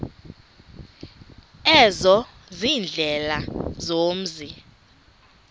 ezo ziindlela zomzi